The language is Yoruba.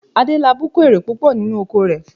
Adélabú kó èrè púpọ̀ nínú oko rẹ̀